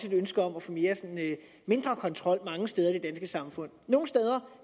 et ønske om at få mindre kontrol mange steder i det danske samfund nogle steder